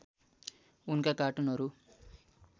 उनका कार्टुनहरू